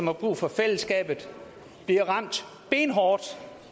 har brug for fællesskabet bliver ramt benhårdt